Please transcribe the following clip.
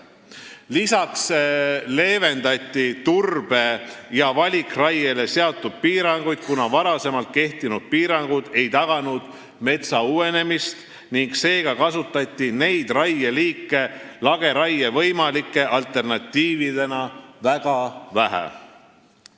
Lisaks leevendati turbe- ja valikraiele seatud piiranguid, kuna varem kehtinud piirangud ei taganud metsa uuenemist ning seega kasutati neid raieliike lageraie võimalike alternatiividena väga vähe.